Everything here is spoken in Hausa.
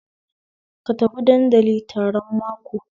Ka tafi dandali taron mako